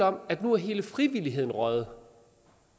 om at nu er hele frivilligheden røget